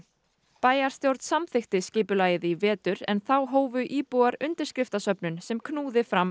bæjarstjórn samþykkti skipulagið í vetur en þá hófu íbúar undirskriftasöfnun sem knúði fram